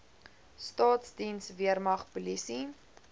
staatsdiens weermag polisie